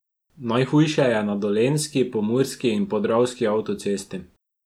Najhujše je na dolenjski, pomurski in podravski avtocesti.